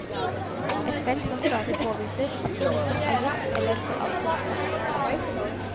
Et felt som stadig påviser at ingenting er gitt eller for alltid bestemt. punktum